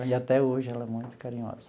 E até hoje ela é muito carinhosa.